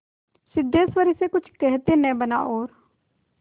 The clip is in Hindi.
सिद्धेश्वरी से कुछ कहते न बना और